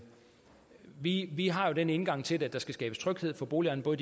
vi har jo den indgang til det at der skal skabes tryghed for boligejerne både